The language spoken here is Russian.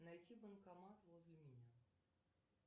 найти банкомат возле меня